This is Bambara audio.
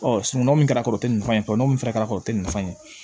sinankunya mun kɛra karɛti nin fɛn in fɔ nin fɛnɛ kɛra ten nafa ye